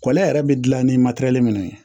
yɛrɛ bɛ gilan ni matɛrɛli nunnu ye